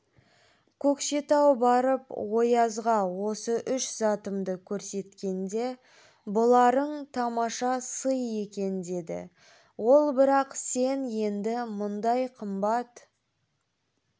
көкшетау барып оязға осы үш затымды көрсеткенде бұларың тамаша сый екен деді ол бірақ сен енді мұндай қымбат